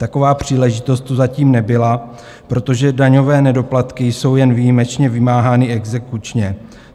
Taková příležitost tu zatím nebyla, protože daňové nedoplatky jsou jen výjimečně vymáhány exekučně.